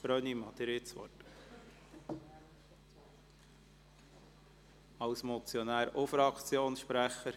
Brönnimann hat das Wort als Motionär sowie als Fraktionssprecher.